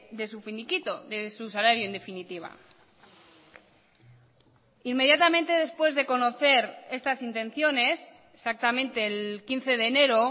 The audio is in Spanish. de su finiquito de su salario en definitiva inmediatamente después de conocer estas intenciones exactamente el quince de enero